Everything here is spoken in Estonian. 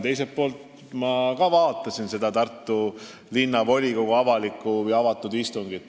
Teiselt poolt ma vaatasin ka seda Tartu Linnavolikogu avalikku istungit.